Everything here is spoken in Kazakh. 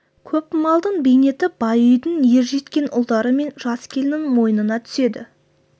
көп малдың бейнеті бай үйдің ержеткен ұлдары мен жас келіннің мойнына түседі